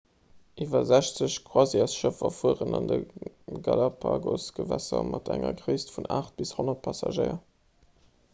iwwer 60 croisièresschëffer fueren an de galapagos-gewässer mat enger gréisst vun 8 bis 100 passagéier